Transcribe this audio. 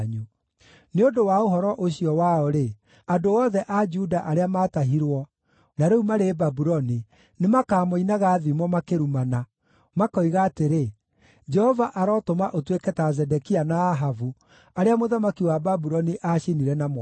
Nĩ ũndũ wa ũhoro ũcio wao-rĩ, andũ othe a Juda arĩa maatahirwo na rĩu marĩ Babuloni nĩmakamoinaga thimo makĩrumana, makoiga atĩrĩ, ‘Jehova arotũma ũtuĩke ta Zedekia na Ahabu, arĩa mũthamaki wa Babuloni aacinire na mwaki.’